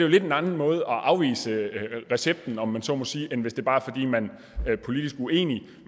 lidt en anden måde at afvise recepten om jeg så må sige end hvis det bare er fordi man er politisk uenig